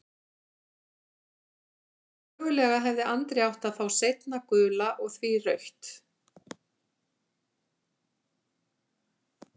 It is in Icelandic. Þannig að mögulega hefði Andri átt að fá seinna gula og því rautt?